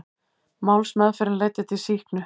Málsmeðferðin leiddi til sýknu